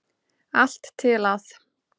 Allt til að